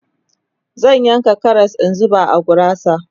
zan yanka Karas in zuba a gurasa